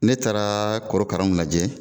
Ne taara korokaranw lajɛ.